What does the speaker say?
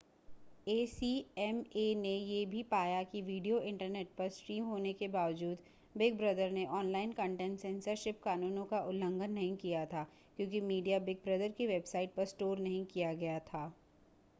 ACMA ने यह भी पाया कि वीडियो इंटरनेट पर स्ट्रीम होने के बावजूद बिग ब्रदर ने ऑनलाइन कंटेंट सेंसरशिप कानूनों का उल्लंघन नहीं किया था क्योंकि मीडिया बिग ब्रदर की वेबसाइट पर स्टोर नहीं किया गया था